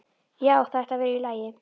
Já, það ætti að vera í lagi.